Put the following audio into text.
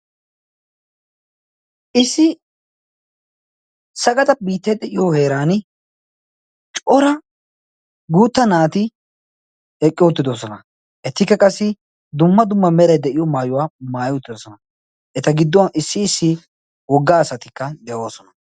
issi sagada biitta de7iyo heeran cora guutta naati eqqi outtidosona. ettikka qassi dumma dumma merai de7iyo maayuwaa maayi uttidosona. eta gidduwn issi issi wogga asatikka de7oosona.